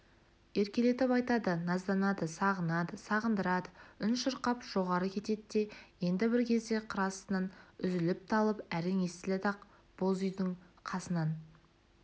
еркелетіп айтады назданады сағынады сағындырады үн шырқап жоғары кетеді де енді бір кезде қыр астынан үзіліп-талып әрең естіледі ақ боз үйдің қасынан